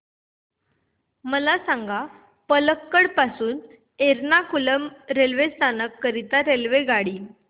मला सांग पलक्कड पासून एर्नाकुलम रेल्वे स्थानक करीता रेल्वेगाडी